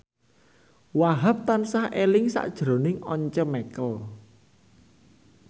Wahhab tansah eling sakjroning Once Mekel